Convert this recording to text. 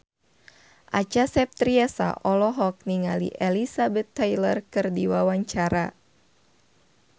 Acha Septriasa olohok ningali Elizabeth Taylor keur diwawancara